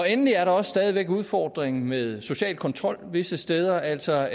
endelig er der også stadig væk udfordringen med social kontrol visse steder altså